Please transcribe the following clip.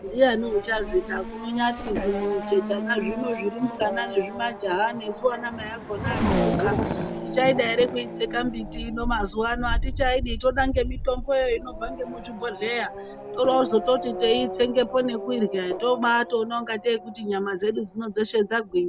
Ndiani uchazvida kunyati zvimuchechana zvino zvirumbwana nezvimajaha nesu anamai akona asharuka tichaida here kuitsenga mbiti mazuwano, atichaidi toda nemitombo inobva nemuzvigohleya torowozototi teitsengepo nekuirwa tobatoona kungatei kuti nyama dzedu dzeshe dzagwinya.